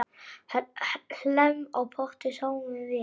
Hlemm á potti sáum vér.